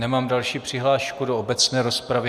Nemám další přihlášku do obecné rozpravy.